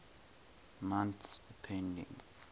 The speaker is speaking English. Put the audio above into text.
months depending